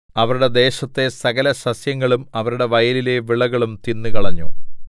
അവരുടെ ദേശത്തെ സകലസസ്യങ്ങളും അവരുടെ വയലിലെ വിളയും തിന്നുകളഞ്ഞു